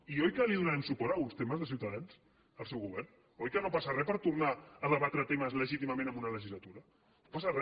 i oi que li donarem suport en alguns temes des de ciutadans al seu govern oi que no passa re per tornar a debatre temes legítimament en una legislatura no passa re